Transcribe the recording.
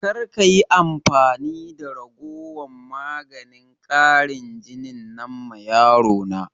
Karka yi amfani da raguwan maganin ƙarin jinin nan ma yaro na!